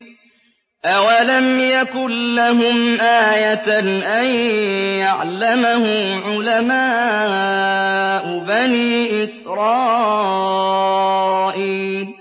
أَوَلَمْ يَكُن لَّهُمْ آيَةً أَن يَعْلَمَهُ عُلَمَاءُ بَنِي إِسْرَائِيلَ